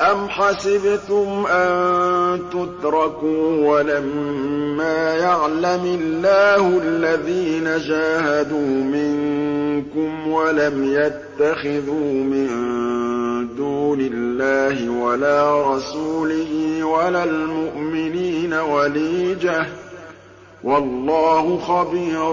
أَمْ حَسِبْتُمْ أَن تُتْرَكُوا وَلَمَّا يَعْلَمِ اللَّهُ الَّذِينَ جَاهَدُوا مِنكُمْ وَلَمْ يَتَّخِذُوا مِن دُونِ اللَّهِ وَلَا رَسُولِهِ وَلَا الْمُؤْمِنِينَ وَلِيجَةً ۚ وَاللَّهُ خَبِيرٌ